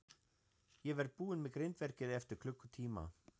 Ég verð búinn með grindverkið eftir klukkutíma.